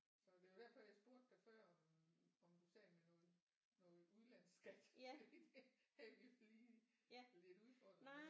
Så det var derfor jeg spurgte dig før om om du sad med noget noget udlandsskat fordi det havde vi lige lidt udfordringer med